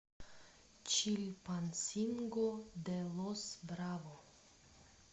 чильпансинго де лос браво